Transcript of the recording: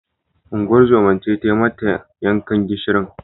Unguwar zoman ce tai mata yankan gishirin.